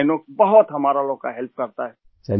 آئینوکس ہم لوگوں کی بہت مدد کرتا ہے